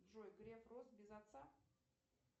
джой греф рос без отца